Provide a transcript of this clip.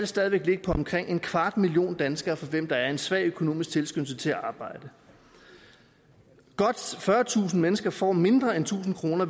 stadig væk være omkring en kvart million danskere for hvem der er en svag økonomisk tilskyndelse til at arbejde godt fyrretusind mennesker får mindre end tusind kroner